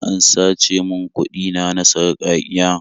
An sace min kuɗi na na sarƙaƙiya.